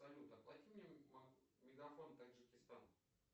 салют оплати мне мегафон таджикистан